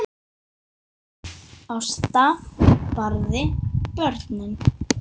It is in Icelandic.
Axel, Vala og börn.